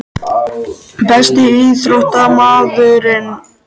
Besti íþróttafréttamaðurinn??